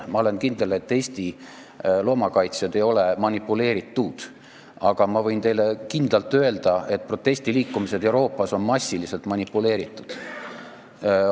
Ma olen kindel, et Eesti loomakaitsjad ei ole manipuleeritud, aga ma võin teile kindlalt öelda, et protestiliikumised Euroopas on massiliselt manipuleeritud.